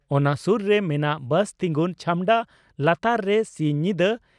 ᱚᱱᱟ ᱥᱩᱨ ᱨᱮ ᱢᱮᱱᱟᱜ ᱵᱟᱥ ᱛᱤᱝᱜᱩᱱ ᱪᱷᱟᱢᱰ ᱟᱞᱟᱛᱟᱨ ᱨᱮ ᱥᱤᱧ ᱧᱤᱫᱟᱹ